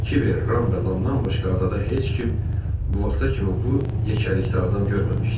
Kiber, Ram və Lamdan başqa adada heç kim bu vaxta kimi bu yekəlikdə adam görməmişdi.